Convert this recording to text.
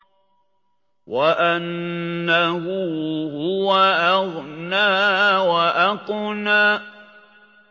وَأَنَّهُ هُوَ أَغْنَىٰ وَأَقْنَىٰ